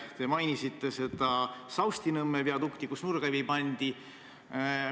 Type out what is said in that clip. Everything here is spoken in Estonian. Te mainisite Saustinõmme viadukti, millele nurgakivi pandi.